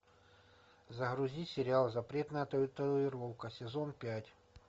загрузи сериал запретная татуировка сезон пять